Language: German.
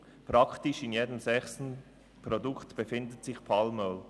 Praktisch in jedem sechsten Produkt befindet sich Palmöl.